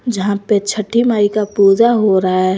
जहां पर छठी माई का पूजा हो रहा है।